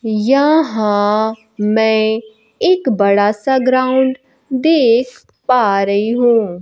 यहां मैं एक बड़ा सा ग्राउंड देख पा रही हूं।